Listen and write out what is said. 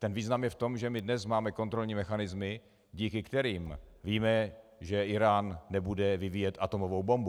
Ten význam je v tom, že my dnes máme kontrolní mechanismy, díky kterým víme, že Írán nebude vyvíjet atomovou bombu.